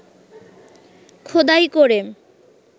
খোদাই করে